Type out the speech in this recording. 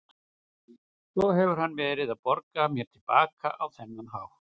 Svo hefur hann verið að borga mér til baka á þennan hátt.